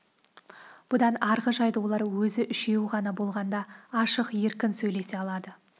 бұдан арғы жайды олар өзі үшеуі ғана болғанда ашық еркін сөйлесе алады